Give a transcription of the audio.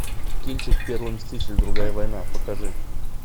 кинчик первый мститель другая война покажи